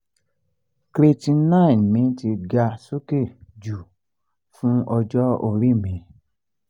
creatinine mi ti ga sókè jù fún ọjọ́ orí mi